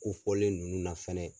kofɔlen ninnu na fɛnɛ.